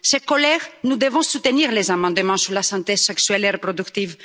Chers collègues, nous devons soutenir les amendements sur la santé sexuelle et reproductive.